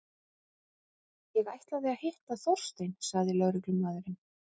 Ég ætlaði að hitta Þorstein sagði lögreglumaðurinn.